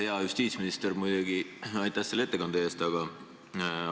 Hea justiitsminister, muidugi aitäh selle ettekande eest!